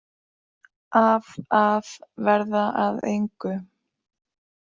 Af að verða að engu.